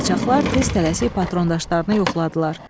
Qaçaqlar tez tələsik patrondaşlarını yoxladılar.